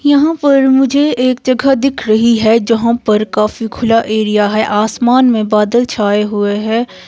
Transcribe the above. यहाँ पर मुझे एक जगह दिख रही है जहाँ पर काफी खुला एरिया है आसमान में बादल छाए हुए है।